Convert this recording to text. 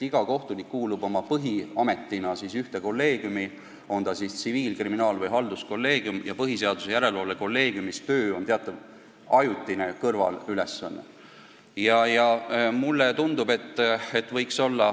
Iga kohtunik kuulub oma põhiametis ühte kolleegiumi, on see siis tsiviil-, kriminaal- või halduskolleegium, ja põhiseaduslikkuse järelevalve kolleegiumis tehtav töö on teatav ajutine kõrvalülesanne.